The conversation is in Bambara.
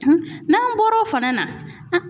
n'an bɔra o fana na